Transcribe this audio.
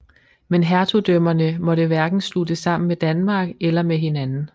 Men hertugdømmerne måtte hverken sluttes sammen med Danmark eller med hinanden